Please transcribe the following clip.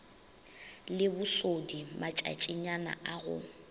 le bosodi matšatšinyana a go